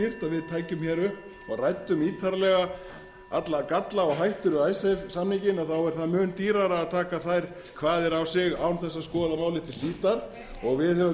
við tækjum upp og ræddum ítarlega alla galla og hættur við icesave samninginn þá er það mun dýrara að taka þær kvaðir á sig án þess að skoða málið til hlítar og við höfum